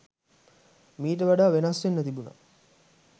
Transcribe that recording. මීට වඩා වෙනස් වෙන්න තිබුණා.